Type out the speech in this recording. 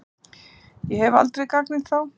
Ég hef aldrei gagnrýnt þá.